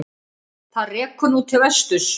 Það rekur nú til vesturs.